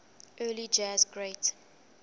early jazz great